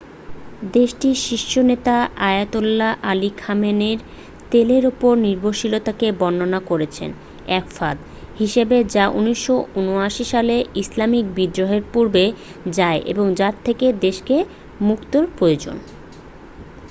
"দেশটির শীর্ষ নেতা আয়াতোল্লাহ আলি খামেনেই তেলের ওপর নির্ভরশীলতাকে বর্ননা করেছেন "এক ফাঁদ" হিসেবে যা ১৯৭৯ সালের ইসলামিক বিদ্রোহের পূর্বে যায় এবং যার থেকে দেশকে মুক্তের প্রয়োজন।